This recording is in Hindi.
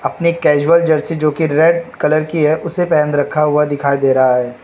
ने कैजुअल जर्सी जो कि रेड कलर की है उसे पहन रखा हुआ दिखाई दे रहा है।